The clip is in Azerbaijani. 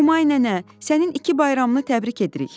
Humay nənə, sənin iki bayramını təbrik edirik.